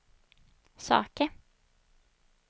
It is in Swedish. saker